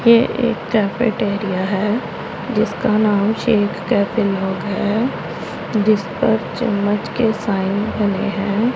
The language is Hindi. ये एक कैफेट एरिया है जिसका नाम है जिस पर पर चम्मच के साइन बने हैं।